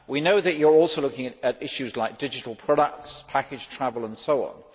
We know that you are also looking at issues such as digital products, package, travel and so on.